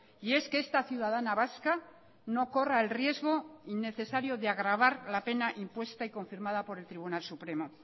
y es que esta ciudadana vasca no corra el riesgo innecesario de agravar la pena impuesta y confirmada por el tribunal supremo